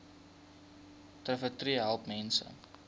trvterapie help mense